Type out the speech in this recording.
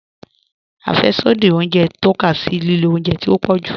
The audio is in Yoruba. Afẹ́ṣodì ọ̀unjẹ n tọka sí lílò ọ̀unjẹ tí o pọ̀ jù.